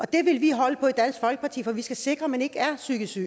det vil vi holde på i dansk folkeparti for vi skal sikre at man ikke er psykisk syg